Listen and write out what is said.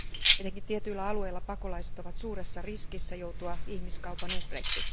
Etenkin tietyillä alueilla pakolaiset ovat suuressa riskissä joutua ihmiskaupan uhreiksi.